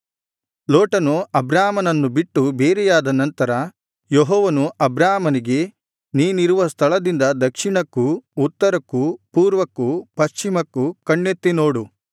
ಲೋಟನು ಅಬ್ರಾಮನನ್ನು ಬಿಟ್ಟು ಬೇರೆಯಾದ ನಂತರ ಯೆಹೋವನು ಅಬ್ರಾಮನಿಗೆ ನೀನಿರುವ ಸ್ಥಳದಿಂದ ದಕ್ಷಿಣಕ್ಕೂ ಉತ್ತರಕ್ಕೂ ಪೂರ್ವಕ್ಕೂ ಪಶ್ಚಿಮಕ್ಕೂ ಕಣ್ಣೆತ್ತಿ ನೋಡು